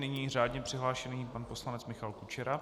Nyní řádně přihlášený pan poslanec Michal Kučera.